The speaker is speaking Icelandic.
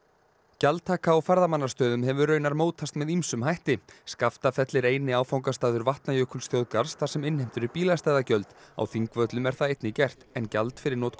gjaldtaka á ferðamannastöðum hefur raunar mótast með ýmsum hætti Skaftafell er eini áfangastaður Vatnajökulsþjóðgarðs þar sem innheimt eru bílastæðagjöld á Þingvöllum er það einnig gert en gjald fyrir notkun